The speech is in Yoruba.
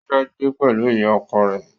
Ó fẹ́ gbé pẹ̀lú ìyá ọkọ rẹ̀